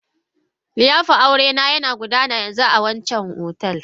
liyafar aurena yana gudana yanzu a wancan otal.